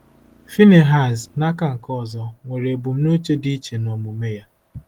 Phinehas, n’aka nke ọzọ, nwere ebumnuche dị iche n’omume ya.